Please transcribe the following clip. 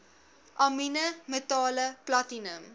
amiene metale platinum